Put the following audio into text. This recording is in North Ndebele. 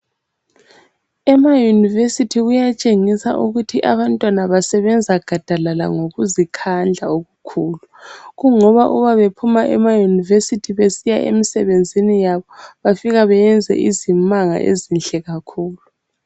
Emayunivesithi kuyatshengisa ukuthi abantwana basebenza gadalala ngokuzikhandla okukhulu. Kungoba uba bephuma emayunivesithi besiya emisebenzini yabo bafika bayenze izimanga ezinhle kakhulu.